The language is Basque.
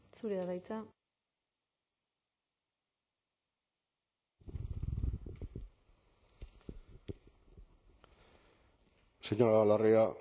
zurea da hitza señora larrea